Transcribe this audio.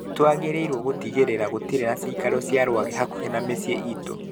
Nĩ twagĩrĩirũo gũtigĩrĩra gũtirĩ na cikaro cia rwagĩ hakuhĩ ma miciĩ itũ